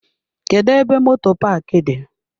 Kedụ ebe moto paaki dị?